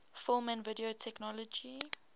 film and video technology